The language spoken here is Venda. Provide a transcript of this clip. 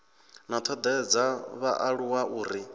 na thodea dza vhaaluwa uri